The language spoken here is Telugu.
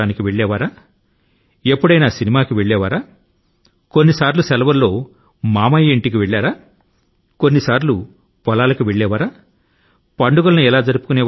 వారు ఏ ఆటల ను ఆడారు సినిమాల కు వెళ్ళారా సెలవుల్లో బంధువుల ఇంటి కి వెళ్లి ఉంటే పొలాన్ని గాని లేదా గాదె ను గాని చూశారా పండుగల ను ఎలా జరుపుకొన్నారు